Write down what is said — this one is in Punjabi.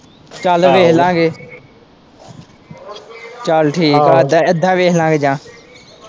ਚੱਲ ਵੇਖ ਲਵਾਂਗੇ ਚੱਲ ਠੀਕ ਏ ਇੱਦਾ ਵੇਖ ਲਵਾਂਗੇ ਜਾ।